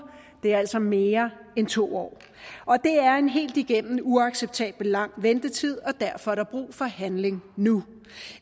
det er altså mere end to år og det er en helt igennem uacceptabelt lang ventetid og derfor er der brug for handling nu